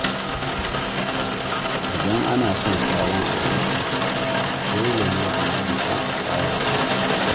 Idan ana son sabon aboki, dole ne a nuna kyautatawa da gaskiya.